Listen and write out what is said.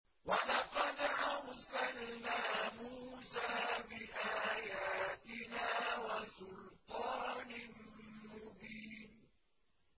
وَلَقَدْ أَرْسَلْنَا مُوسَىٰ بِآيَاتِنَا وَسُلْطَانٍ مُّبِينٍ